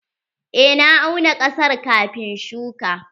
Eh na auna ƙasar kafin shuƙa.